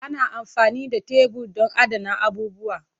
Ana amfani da tebur don adana abubuwa.